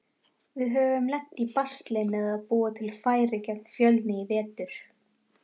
Við höfum lent í basli með að búa til færi gegn Fjölni í vetur.